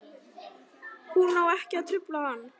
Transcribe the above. Hún á ekki að trufla hann.